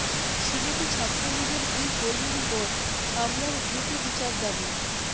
সিলেটে ছাত্রলীগের দুই কর্মীর ওপর হামলার দ্রুত বিচার দাবি